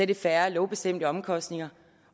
det færre lovbestemte omkostninger